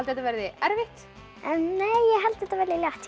þetta verði erfitt ég held þetta verði létt